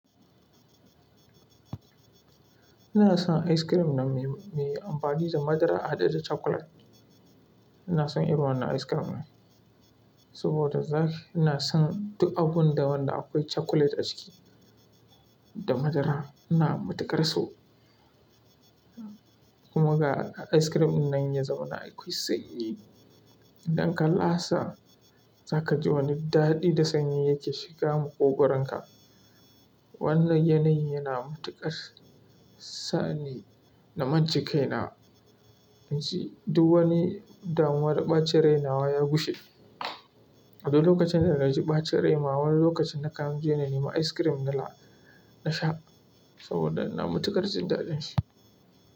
Ina son ice cream na mai, mai amfani da madara haɗe da cakulet. Ina son irin wannan ice cream ɗin saboda zakai ina son duk abun da wanda akwai cakulet a ciki da madara. Ina matuƙar so, kuma ga ice cream dinnan ya zama na akwai sanyi. Idan ka lasa, zaka ji wani daɗi da sanyi yake shiga ma ƙugarka. Wannan yanayi yana matuƙar sa ni na mance kaina, yanzu duk wani damuwar ɓacin rainawa ya gushe. Abun lokacin da na ji ɓacin raina, wani lokacin na kan je na nemi ice cream na lasa, na sha saboda ina matuƙar jin daɗin shi.